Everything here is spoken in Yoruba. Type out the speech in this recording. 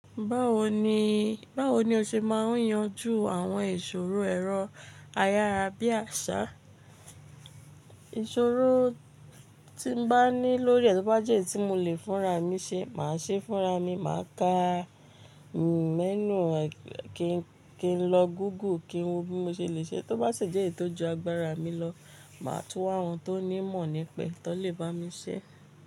Báwo ni o ṣe máa ń yanjú àwọn ìṣòro ẹrọ ayára bí àsá? Ìṣòro tí n bá ní lórí è tò bá jẹ́ ẹ́ tí mo lè fúnra mi ṣe, màá ṣe fúnra mi, màá ka menu kí n lọ Google kí n wo bí mo ṣe le ṣe ẹ́. Tó bá sì jẹ́ èyi tò ju agbára mi lọ, màá tún wa àwọn tó ní ìmọ̀ nípa ẹ́ tón lè bá mi ṣe é.